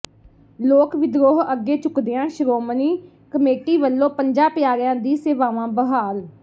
ਲੋਕ ਵਿਦਰੋਹ ਅੱਗੇ ਝੁਕਦਿਆਂ ਸ਼੍ਰੋਮਣੀ ਕਮੇਟੀ ਵਲੋਂ ਪੰਜਾਂ ਪਿਆਰਿਆਂ ਦੀਆਂ ਸੇਵਾਵਾਂ ਬਹਾਲ